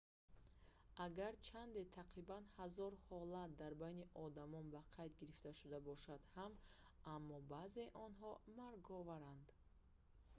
агарчанде тақрибан ҳазор ҳолат дар байни одамон ба қайд гирифта шуда бошад ҳам аммо баъзеи онҳо марговаранд